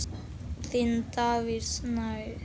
Þinn, Davíð Snær.